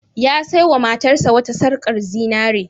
Ya saiwa matarsa wata sarƙar zinare.